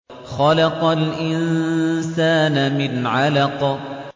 خَلَقَ الْإِنسَانَ مِنْ عَلَقٍ